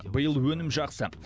биыл өнім жақсы